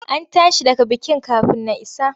An tashi daga bikin kafin na isa.